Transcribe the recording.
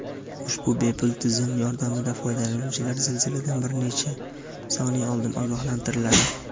Ushbu bepul tizim yordamida foydalanuvchilar zilziladan bir necha soniya oldin ogohlantiriladi.